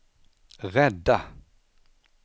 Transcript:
rädda